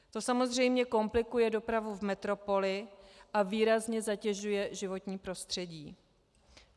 To samozřejmě komplikuje dopravu v metropoli a výrazně zatěžuje životní prostředí.